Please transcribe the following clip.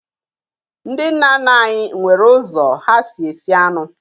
Ndị nna nna anyị nwere ụzọ ha si esi anụ